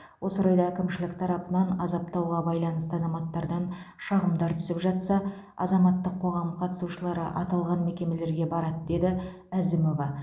осы орайда әкімшілік тарапынан азаптауға байланысты азаматтардан шағымдар түсіп жатса азаматтық қоғам қатысушылары аталған мекемелерге барады деді әзімова